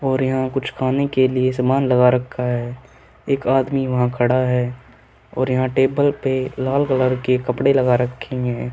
और यहां कुछ खाने के लिए सामान लगा रखा है एक आदमी वहां खड़ा है और यहां टेबल पे लाल कलर के कपड़े लगा रखे हैं।